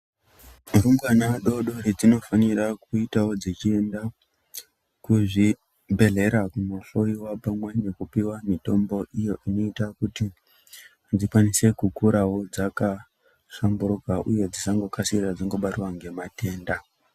Varumbwana vadodori vanofanira kuitawo vachienda kuzvibhedhera kunohloyiwa pamwe nekupuwa mitombo inoita kuti vakwanise kukura vakahlamburika uye vasangobatwawo ngematenda.